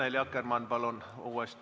Annely Akkermann, palun uuesti!